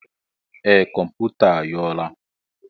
Ee, kọmputa a nyou la.